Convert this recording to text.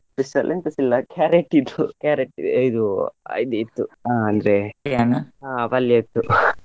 Special ಎಂತಸ ಇಲ್ಲ carrot ಇದ್ದು carrot ಇದು ಅಹ್ ಇದು ಇತ್ತು ಹಾ ಪಲ್ಯ ಇತ್ತು .